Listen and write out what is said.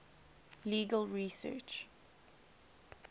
legal research